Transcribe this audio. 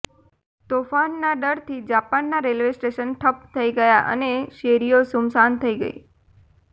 તોફાનના ડરથી જાપાનના railway station ઠપ્પ થઈ ગયા અને શેરીઓ સુમસાન થઈ ગઈ